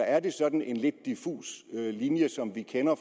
er det sådan en lidt diffus linje som vi kender